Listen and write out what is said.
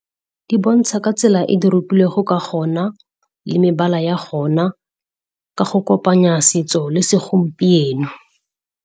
Di bontsha ka tsela e di ka gona le mebala ya gona, ka go kopanya setso le segompieno.